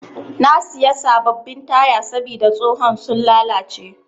Na siya sabbabin taya sabida tsohon sun lallace.